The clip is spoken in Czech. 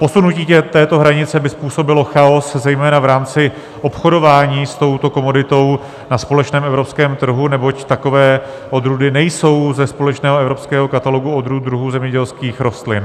Posunutí této hranice by způsobilo chaos zejména v rámci obchodování s touto komoditou na společném evropském trhu, neboť takové odrůdy nejsou ze společného evropského katalogu odrůd druhů zemědělských rostlin.